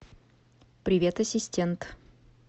привет ассистент